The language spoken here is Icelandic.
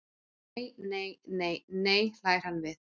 Nei, nei, nei, nei, hlær hann við.